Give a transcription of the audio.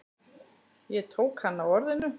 Ég tók hann á orðinu.